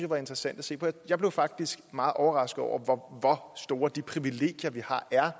var interessant at se jeg blev faktisk meget overrasket over hvor store de privilegier vi har er